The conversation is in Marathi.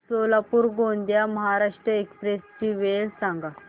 सोलापूर गोंदिया महाराष्ट्र एक्स्प्रेस ची वेळ सांगा